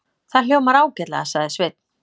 Það hljómar ágætlega, sagði Sveinn.